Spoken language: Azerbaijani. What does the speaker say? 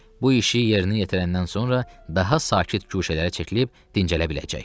Bu işi yerinə yetirəndən sonra daha sakit guşələrə çəkilib dincələ biləcək.